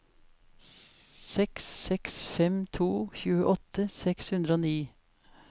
seks seks fem to tjueåtte seks hundre og ni